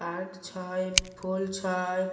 Park छए फूल छए।